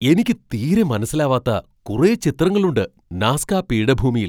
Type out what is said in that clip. എനിക്ക് തീരെ മനസ്സിലാവാത്ത കുറെ ചിത്രങ്ങളുണ്ട് നാസ്ക പീഠഭൂമിയിൽ!